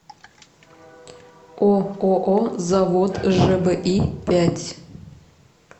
ооо завод жби пять